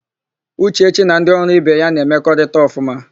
Ụchechi na ndị ọrụ ibe ya na-emekọrịta ọfụma.